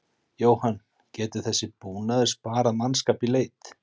Jóhann: Getur þessi búnaður sparað mannskap í leit?